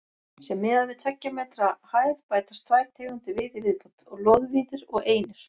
Sé miðað við tveggja metra hæð bætast tvær tegundir við í viðbót: loðvíðir og einir.